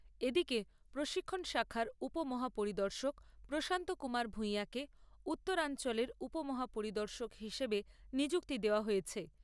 এদিকে প্রশিক্ষণ শাখার উপ মহাপরিদর্শক প্রশান্ত কুমার ভূঁইয়াকে উত্তরাঞ্চলের উপ মহাপরিদর্শক হিসেবে নিযুক্তি দেওয়া হয়েছে।